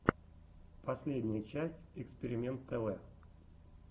последняя часть экспиримэнт тв